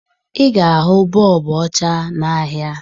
Ị ga-ahụ bọọbụ ọcha n'ahịa